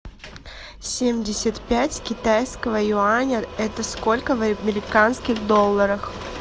семьдесят пять китайского юаня это сколько в американских долларах